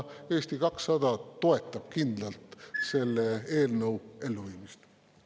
Eesti 200 toetab kindlalt selle eelnõu elluviimist.